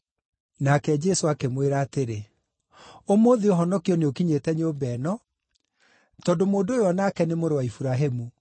Nake Jesũ akĩmwĩra atĩrĩ, “Ũmũthĩ ũhonokio nĩũkinyĩte nyũmba ĩno, tondũ mũndũ ũyũ o nake nĩ mũrũ wa Iburahĩmu.